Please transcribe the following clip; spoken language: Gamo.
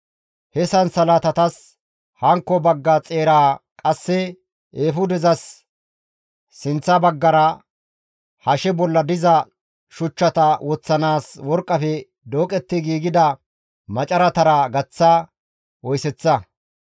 He sansalatatas hankko bagga xeeraa qasse eefudezas sinththa baggara, hashe bolla diza shuchchata woththanaas worqqafe dooqetti giigida macaratara gaththa oyseththa.